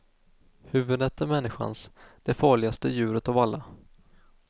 Huvudet är människans, det farligaste djuret av alla.